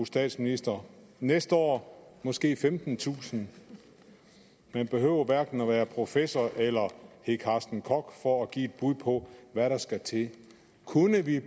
statsministeren næste år er måske femtentusind man behøver hverken at være professor eller hedde carsten koch for at give et bud på hvad der skal til kunne vi i